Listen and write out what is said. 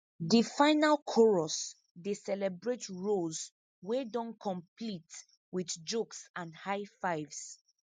de final chorus dey celebrate rows wey don complete wit jokes and high fives